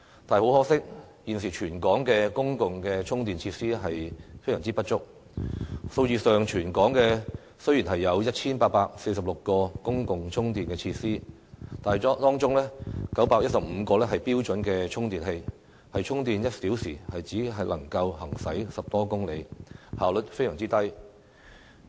但是，很可惜，現時全港的公共充電設施非常不足，在數字上，雖然全港有 1,846 個公共充電設施，但當中915個是標準充電器，充電1小時只能夠行駛10多公里，效率非常低。